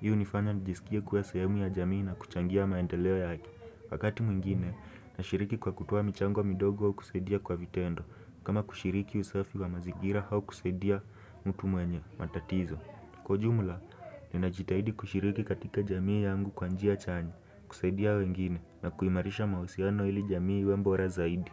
Hii hunifanya nijisikie kuwa sehemu ya jamii na kuchangia maendeleo yake Wakati mwingine, nashiriki kwa kutoa michango midogo kusaidia kwa vitendo, kama kushiriki usafi wa mazigira au kusaidia mtu mwenye, matatizo. Kwa jumla, ninajitahidi kushiriki katika jamii yangu kwa njia chanya, kusaidia wengine, na kuimarisha mawasiano ili jamii iwe bora zaidi.